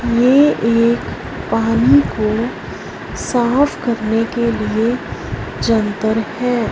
ये एक पानी को साफ करने के लिए यंत्र है।